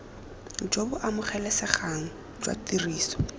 jo bo amogelesegang jwa tiriso